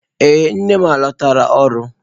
Ee nne m alọtala ọrụ.